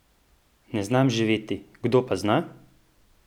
Ne znam živeti, kdo pa zna?